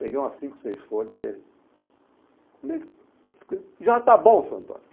Peguei umas cinco, seis folhas e ele... Já está bom, seu Antônio.